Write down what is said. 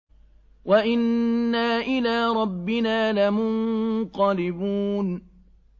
وَإِنَّا إِلَىٰ رَبِّنَا لَمُنقَلِبُونَ